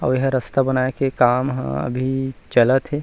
अउ एहा रास्ता बनाए के काम ह अभी चलत हे।